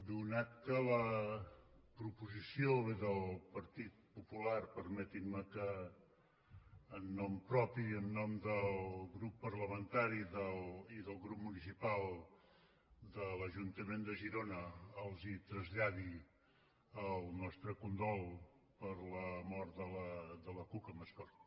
atès que la proposició ve del partit popular permetin me que en nom propi i en nom del grup parlamentari i del grup municipal de l’ajuntament de girona els traslladi el nostre condol per la mort de la cuca mascort